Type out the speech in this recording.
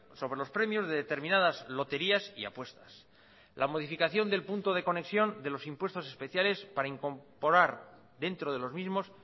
sobre los premios de determinadas loterías y apuestas la modificación del punto de conexión de los impuestos especiales para incorporar dentro de los mismos